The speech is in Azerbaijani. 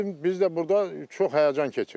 Bizim biz də burda çox həyəcan keçiririk.